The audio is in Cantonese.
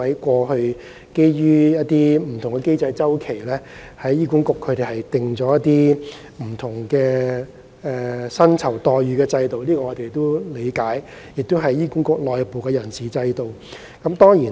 過去基於不同的經濟周期，醫管局制訂了不同的薪酬待遇制度，這是醫管局內部的人事安排。